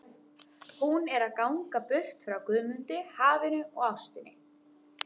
Hún er að ganga burt frá Guðmundi, hafinu og ástinni.